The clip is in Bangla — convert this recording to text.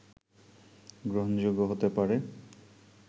গ্রহণযোগ্য হতে পারে